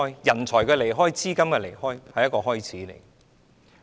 人才的離開、資金的離開，只是一個開始。